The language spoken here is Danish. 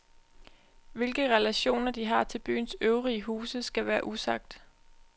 Hvilke relationer de har til byens øvrige huse skal være usagt.